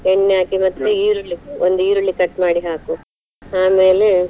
ಎಣ್ಣೆ ಹಾಕಿ ಮತ್ತೆ ಒಂದ್ ಈರುಳ್ಳಿ cut ಮಾಡಿ ಹಾಕು ಆಮೇಲೆ.